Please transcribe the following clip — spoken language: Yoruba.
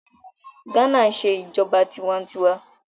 Ghana ń ṣe ìjọba tiwa-n-tiwa